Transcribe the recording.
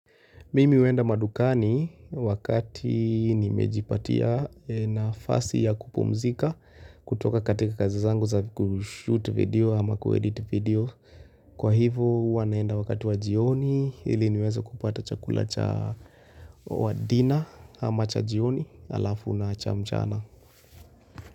Mimi huenda madukani wakati nimejipatia nafasi ya kupumzika kutoka katika kazi zangu za kushute video ama kuedit video. Kwa ivo huwa naenda wakati wa jioni ili niweze kupata chakula cha wa dina ama cha jioni halafu na cha mchana.